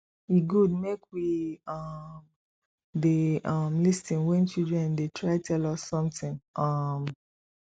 e good make we um dey um lis ten when children dey try tell us something um